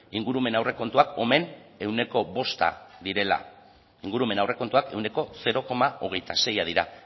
ingurumen aurrekontuak omen ehuneko bosta direla ingurumen aurrekontuak ehuneko zero koma hogeita seia dira